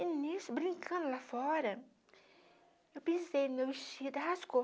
E nisso, brincando lá fora, eu pensei, meu vestido rasgou.